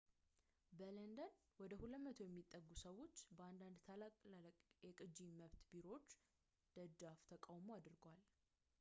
በለንደን ወደ 200 የሚጠጉ ሰዎች በአንዳንድ ታላላቅ የቅጂ መብት ቢሮዎች ደጃፍ ተቃውሞ አድርገዋል